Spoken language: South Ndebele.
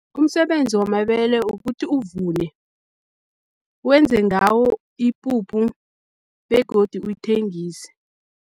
Umsebenzi wamabele ukuthi uvune, wenze ngawo ipuphu begodu uyithengise.